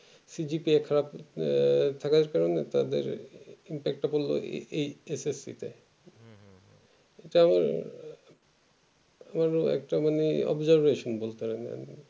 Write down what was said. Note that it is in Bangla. আহ থাকার কারণে তাদের এই SSC তে চরম বড়ো একটা মানে observation বলে পারো